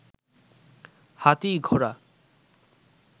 হাতি, ঘোড়া